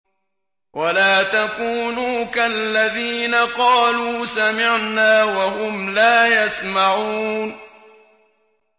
وَلَا تَكُونُوا كَالَّذِينَ قَالُوا سَمِعْنَا وَهُمْ لَا يَسْمَعُونَ